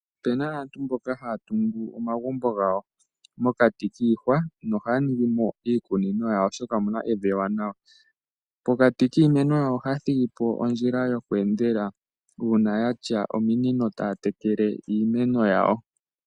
Opuna aantu mboka haya tungu omagumbo gawo mokati kiihawa nohaya ningimo iikunino yawo oshoka omuna evi ewanawa. Mokati kiimeno ohaya thigimo ondjila yokweendela uuna yatya ominino taya tekele iimeno yawo.